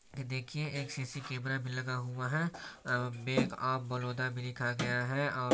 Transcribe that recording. की देखिए एक सी_सी कैमरा भी लगा हुआ है और बैंक ऑफ बड़ौदा भी लिखा गया है और--